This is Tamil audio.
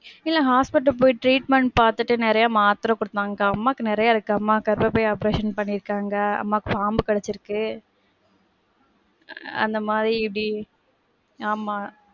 இல்ல hospital போய் treatment பாத்துட்டு நெறைய மாத்திர குடுப்பாங்க அக்கா, அம்மாக்கு நிறைய இருக்கு. அம்மாக்கு கர்பப்பை operation பன்னிர்க்காங்க. அம்மாக்கு பாம்பு கடிச்சிருக்கு, அந்த மாதிரி இப்டி ஆமா.